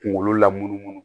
Kunkolo la munumunu